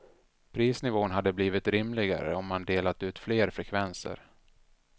Prisnivån hade blivit rimligare om man delat ut fler frekvenser.